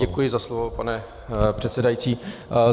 Děkuji za slovo, pane předsedající.